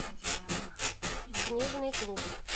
книжный клуб